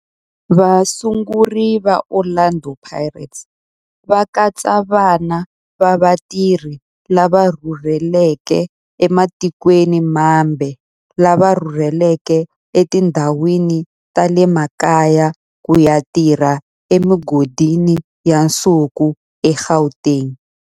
Vasunguri va Orlando Pirates va katsa vana va vatirhi lava rhurhelaka ematikweni mambe lava rhurheleke etindhawini ta le makaya ku ya tirha emigodini ya nsuku eGauteng.